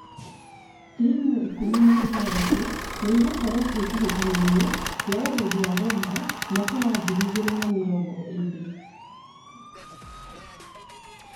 Timu ikũmi na ithathatũ nĩ igũkorwo kĩ hĩ tahĩ tanoinĩ kia ũgendi wa Rwanda mwaka wa ngiri igĩ rĩ na mĩ rongo ĩ rĩ .